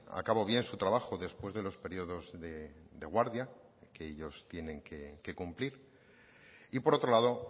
a cabo bien su trabajo después de los periodos de guardia que ellos tienen que cumplir y por otro lado